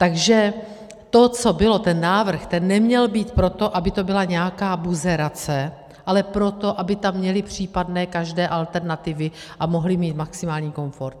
Takže to, co bylo, ten návrh, ten neměl být proto, aby to byla nějaká buzerace, ale proto, aby tam měli případné každé alternativy a mohli mít maximální komfort.